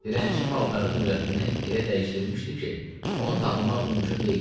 Dilənçi paltarı Nurəddini elə dəyişdirmişdi ki, onu tanımaq mümkün deyildi.